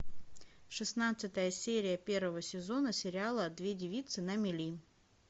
шестнадцатая серия первого сезона сериала две девицы на мели